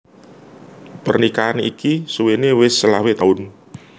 Pernikahan iki suwéné wis selawe taun